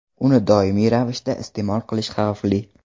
Uni doimiy ravishda iste’mol qilish xavfli.